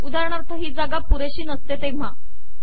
उदाहरणार्थ ही जागा पुरेशी नसते तेव्हा